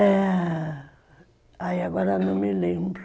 É... Aí agora não me lembro.